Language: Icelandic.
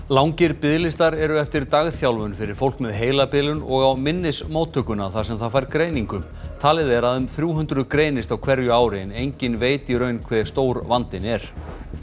langir biðlistar eru eftir dagþjálfun fyrir fólk með heilabilun og á minnismóttökuna þar sem það fær greiningu talið er að um þrjú hundruð greinist á hverju ári en enginn veit í raun hve stór vandinn er